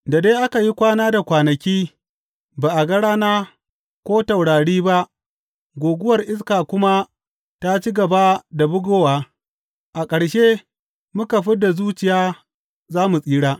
Da dai aka yi kwana da kwanaki ba a ga rana ko taurari ba guguwar iska kuma ta ci gaba da bugowa, a ƙarshe muka fid da zuciya za mu tsira.